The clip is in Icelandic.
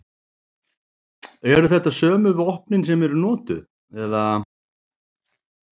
Eru þetta sömu vopnin sem eru notuð eða?